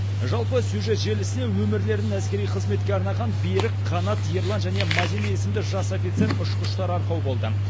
жалпы сюжет желісіне өмірлерін әскери қызметке арнаған берік қанат ерлан және мадина есімді жас офицер ұшқыштар арқау болды